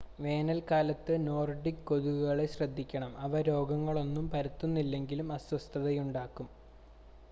വേനൽക്കാലത്ത് നോർഡിക് കൊതുകുകളെ ശ്രദ്ധിക്കണം അവ രോഗങ്ങളൊന്നും പടർത്തുന്നില്ലെങ്കിലും അസ്വസ്ഥതയുണ്ടാക്കും